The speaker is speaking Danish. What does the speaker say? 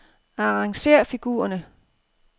Arrangér figurerne.